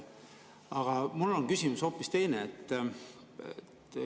Aga küsimus on mul hoopis teine.